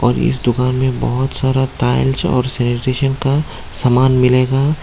और इस दुकान मे बोहोत सारा टाइल्स और सैनिट्रिसन का समान मिलेगा।